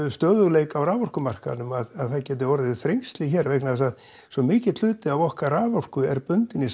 stöðugleika á raforkumarkaðnum að það geti orðið þrengsli hér vegna þess að svo mikill hluti af okkar raforku er bundinn í